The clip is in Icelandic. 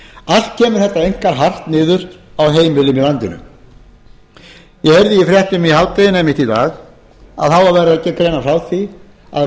allt kemur þetta einkar hart niður á heimilunum í landinu ég heyrði í fréttum í hádeginu einmitt í dag að það var verið að greina frá því að